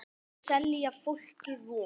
Þeir selja fólki von.